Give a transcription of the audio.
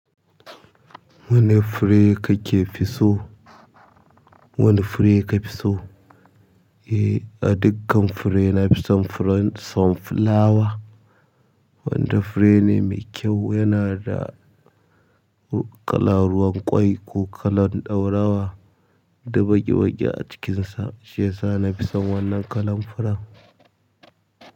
Wane fure kake fi so? Wane fure ka fi so? Eh a dakkan fure nafi son furen some fulawa wanda fure ne mekyau yanada ƙalar ruwan kwai ko kalan ɗaurawa da baki-baki a cikinsa. Shiyasa na fi son wannan kalan furen.